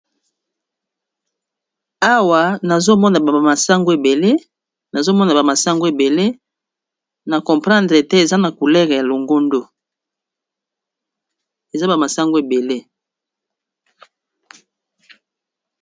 Awa nazomona ba masango ebele na comprendre te eza na couleur ya longondo eza bamasango ebele.